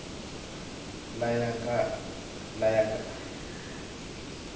laya nga na mulawuri nkulu